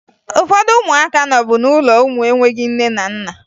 Ụfọdụ ụmụaka nọbu n'ụlọ ụmụ enweghi nne na nna